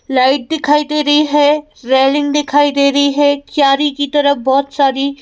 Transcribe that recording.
light दिखाई दे रही है रेलिंग दिखाई दे रही है क्यारी की तरह बहुत सारी--